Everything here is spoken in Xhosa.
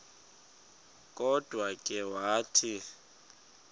kodwa ke wathi